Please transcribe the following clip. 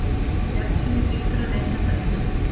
Bjartsýni þýskra neytenda eykst